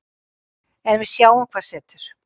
En við sjáum hvað setur.